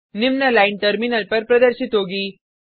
निम्न line terminal पर प्रदर्शित होगी